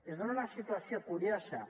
es dona una situació curiosa